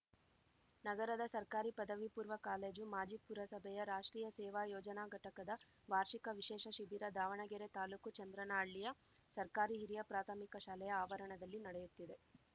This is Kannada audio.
ನಗರದ ಸರ್ಕಾರಿ ಪದವಿ ಪೂರ್ವ ಕಾಲೇಜು ಮಾಜಿ ಪುರಸಭೆಯ ರಾಷ್ಟ್ರೀಯ ಸೇವಾ ಯೋಜನಾ ಘಟಕದ ವಾರ್ಷಿಕ ವಿಶೇಷ ಶಿಬಿರ ದಾವಣಗೆರೆ ತಾಲೂಕು ಚಂದ್ರನಹಳ್ಳಿಯ ಸರ್ಕಾರಿ ಹಿರಿಯ ಪ್ರಾಥಮಿಕ ಶಾಲೆಯ ಆವರಣದಲ್ಲಿ ನಡೆಯುತ್ತಿದೆ